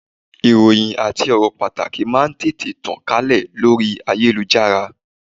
Ìròhìn àti ọ̀rọ̀ pàtàkì máà ń tètè tàn kálẹ̀ lórí ayélujára.